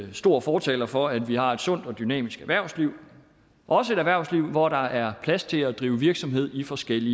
en stor fortaler for at vi har et sundt og dynamisk erhvervsliv også et erhvervsliv hvor der er plads til at drive virksomhed i forskellig